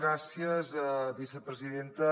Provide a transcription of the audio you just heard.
gràcies vicepresidenta